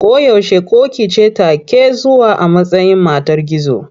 Ko yaushe ƙoƙi ce take zuwa a matsayin matar gizo.